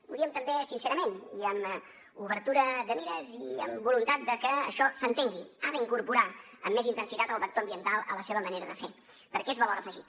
ho diem també sincerament i amb obertura de mires i amb voluntat de que això s’entengui ha d’incorporar amb més intensitat el vector ambiental a la seva manera de fer perquè és valor afegit